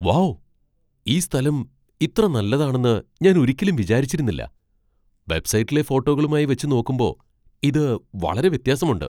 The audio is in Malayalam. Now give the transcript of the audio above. വൗ ! ഈ സ്ഥലം ഇത്ര നല്ലതാണെന്ന് ഞാൻ ഒരിക്കലും വിചാരിച്ചിരുന്നില്ല. വെബ്സൈറ്റിലെ ഫോട്ടോകളുമായി വച്ച് നോക്കുമ്പോ ഇത് വളരെ വ്യത്യാസമുണ്ട്.